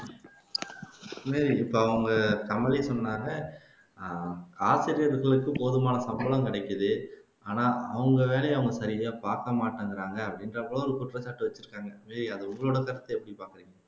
மேரி இப்போ அவங்க கமலி சொன்னாங்க அஹ் ஆசிரியர்களுக்கு போதுமான சம்பளம் கிடைக்குது ஆனா அவங்க வேலைய அவங்க சரியா பாக்க மாட்டேங்கிறாங்க அப்படின்றப்போ ஏய் அது உங்களோட தப்பு அப்படிம்பாங்க